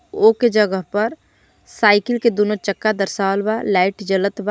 ओ के जगह पर साइकिल के दोनों चक्का दर्शावल बा लाइट जलत बा।